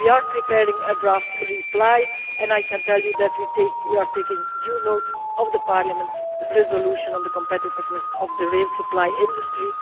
We are preparing a draft reply, and I can tell you that we are taking due note of Parliament's resolution on the competitiveness of the rail supply industry.